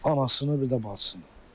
Anasını bir də bacısını.